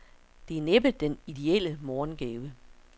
Det er næppe den ideelle morgengave.